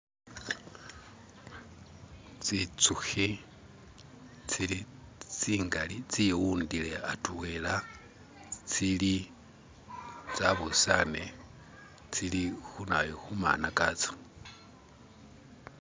tsintsukhi tsili tsingali tsiwundile hatwela tsili tsabusane tsili khunayu khumana katso